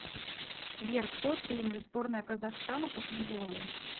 сбер кто тренер сборная казахстана по футболу